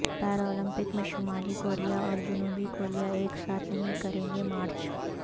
Paralympic میں شمالی کوریااور جنوبی کوریا ایک ساتھ نہیں کریں گےمارچ